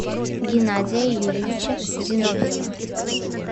геннадия юрьевича зиновьева